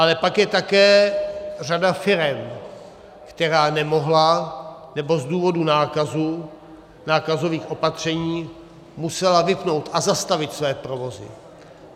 Ale pak je také řada firem, která nemohla, nebo z důvodu nákazy, nákazových opatření musela vypnout a zastavit své provozy.